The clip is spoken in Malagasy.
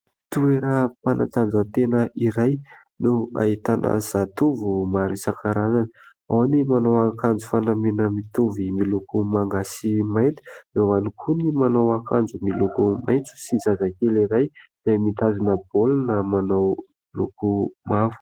Toeram-panatanjahantena iray no ahitana zatovo maro isan-karazany. Ao ny manao akanjo fanamiana mitovy miloko manga sy mainty. Eo ihany koa ny manao akanjo miloko maitso sy zazakely iray mitazona baolina izay manao loko mavo.